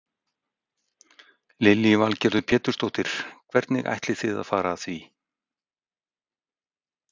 Lillý Valgerður Pétursdóttir: Hvernig ætlið þið að fara að því?